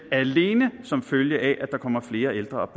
alene som følge af at der kommer flere ældre